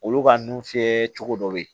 Olu ka nun fiyɛ cogo dɔ be yen